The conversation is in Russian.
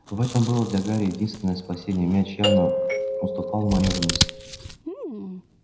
в этом было для гарри единственное спасение мяч явно уступал в манёвренности